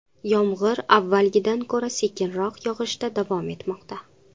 Yomg‘ir avvalgidan ko‘ra sekinroq yog‘ishda davom etmoqda.